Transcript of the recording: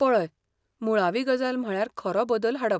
पळय, मुळावी गजाल म्हळ्यार खरो बदल हाडप.